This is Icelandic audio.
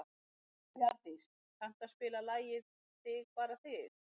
Bjarndís, kanntu að spila lagið „Þig bara þig“?